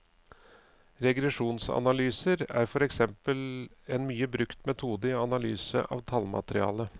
Regresjonsanalyser er for eksempel en mye brukt metode i analyse av et tallmateriale.